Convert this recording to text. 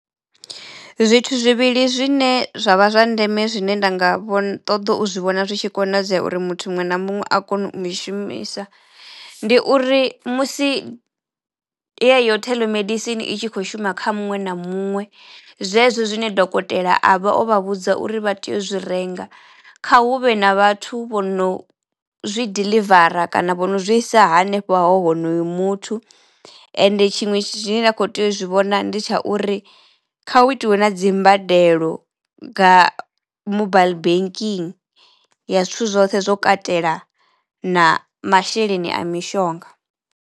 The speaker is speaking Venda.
Zwithu zwivhili zwine zwa vha zwa ndeme zwine nda nga vho ṱoḓo u zwi vhona zwi tshi konadzea uri muthu muṅwe na muṅwe a kono u dzi shumisa ndi uri musi yeyo theḽomedisini i tshi kho shuma kha muṅwe na muṅwe zwezwo zwine dokotela a vha o vha vhudza uri vha tea u zwi renga kha hu vhe na vhathu vho no zwi diḽivara kana vho no zwi isa hanefho ha honoyo muthu ende tshiṅwe tshine nda kho tea u zwi vhona ndi tsha uri kha hu itiwe na dzimbadelo mobile banking ya zwithu zwoṱhe zwo katela na masheleni a mishonga.